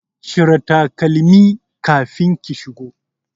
Cire takalmi kafin ki shigo